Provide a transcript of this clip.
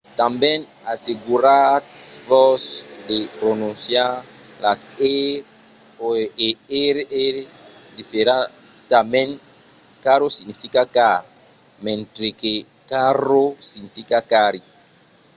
tanben asseguratz-vos de prononciar las r e rr diferentament: caro significa car mentre que carro significa carri